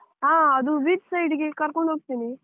ಹ ಅದು beach side ಗೆ ಕರ್ಕೊಂಡ್ ಹೋಗ್ತೀನಿ.